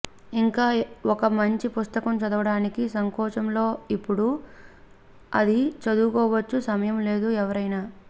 ఇంకా ఒక మంచి పుస్తకం చదవడానికి సంకోచం లో ఇప్పుడు అది చదువుకోవచ్చు సమయం లేదు ఎవరైనా